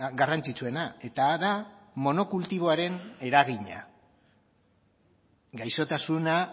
garrantzitsuena eta da monokultiboaren eragina gaixotasuna